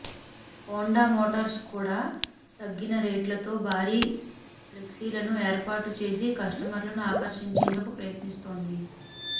Honda Motors కూడా తగ్గిన రేట్లతో భారీ ఫ్లెక్సీలను ఏర్పాటు చేసి కస్టమర్లను ఆకర్షించేందుకు ప్రయత్నిస్తోంది